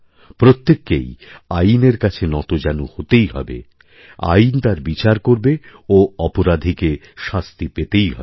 প্রত্যেককেই আইনের কাছেনতজানু হতেই হবে আইন তার বিচার করবে ও অপরাধীকে শাস্তি পেতেই হবে